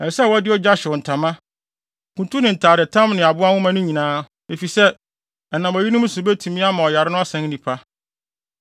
Ɛsɛ sɛ ɔde ogya hyew ntama, kuntu ne ntadetam ne aboa nwoma no nyinaa, efisɛ, ɛnam eyinom so betumi ama ɔyare no asan nnipa.